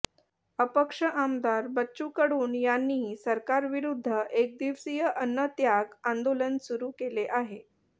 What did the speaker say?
अपक्ष आमदार बच्चू कडू यांनी सरकारविरुद्ध एकदिवसीय अन्नत्याग आंदोलन सुरू केले आहे